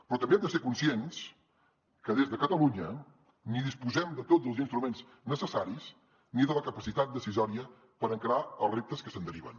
però també hem de ser conscients que des de catalunya ni disposem de tots els instruments necessaris ni de la capacitat decisòria per encarar els reptes que se’n deriven